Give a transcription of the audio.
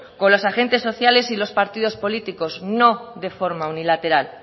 con los agentes sociales y los partidos políticos no de forma unilateral